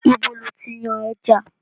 Ibo lo ti yan ẹja?